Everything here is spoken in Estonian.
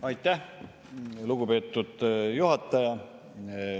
Aitäh, lugupeetud juhataja!